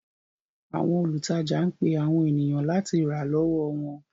Àwọn olùtajà ń pe àwọn ènìyàn láti rà lọ́wọ́ wọn.